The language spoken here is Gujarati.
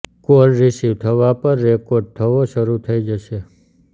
કોલ રિસીવ થવા પર રેકોર્ડ થવો શરૂ થઈ જશે